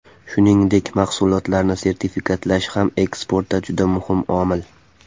Shuningdek, mahsulotlarni sertifikatlash ham eksportda juda muhim omil.